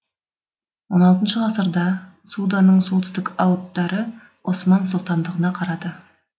он алтыншы ғасырда суданың солтүстік ауддары осман сұлтандығына қарады